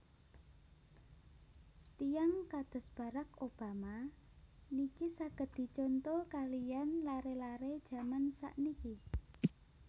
Tiyang kados Barrack Obama niki saget dicontoh kaliyan lare lare jaman sakniki